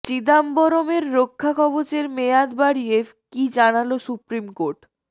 চিদাম্বরমের রক্ষা কবচের মেয়াদ বাড়িয়ে কী জানাল সুপ্রিম কোর্ট